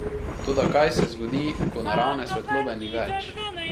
Toda kaj se zgodi, ko naravne svetlobe ni več?